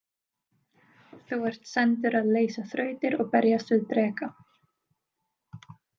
Þú ert sendur að leysa þrautir og berjast við dreka.